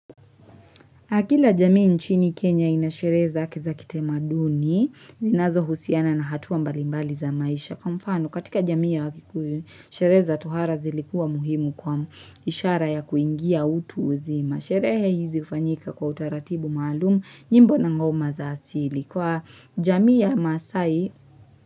Akila jamii nchini Kenya inashereza akiza kitema duni, zinazo husiana na hatua mbalimbali za maisha. Kwa mfano, katika jamii ya wakikuyu sherehe za tohara zilikuwa muhimu kwao ishara ya kuingia utu uzima. Sherehe hizi hufanyika kwa utaratibu maalumu, nyimbo na ngoma za asili. Kwa jamii ya masaai.